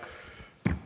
Teie aeg!